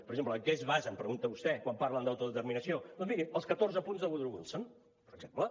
per exemple en què es basa em pregunta vostè quan parlen d’autodeterminació doncs miri els catorze punts de woodrow wilson per exemple